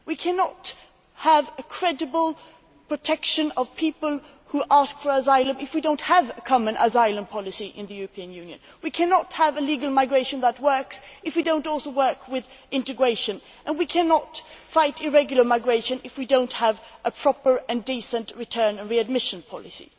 We cannot have credible protection of people who ask for asylum if we do not have a common asylum policy in the European Union. We cannot have legal migration that works if we do not also work with integration and we cannot fight irregular migration if we do not have a proper and decent return and readmission policy.